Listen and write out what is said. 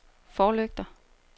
forlygter